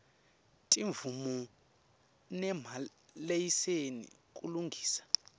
timvumo nemalayisensi kulungisa